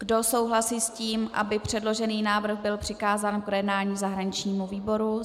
Kdo souhlasí s tím, aby předložený návrh byl přikázán k projednání zahraničnímu výboru?